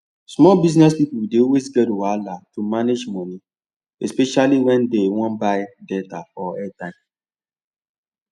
small business people dey always get wahala to manage money especially when dem wan buy data or airtime